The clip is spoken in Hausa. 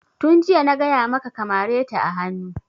Tun jiya na gaya maka ka mare ta a hanu!